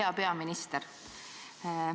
Hea peaminister!